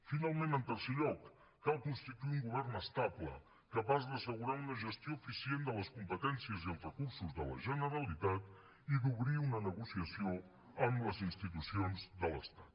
finalment en tercer lloc cal constituir un govern estable capaç d’assegurar una gestió eficient de les competències i els recursos de la generalitat i d’obrir una negociació amb les institucions de l’estat